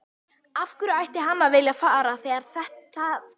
Af hverju ætti hann að vilja fara þegar það gerist?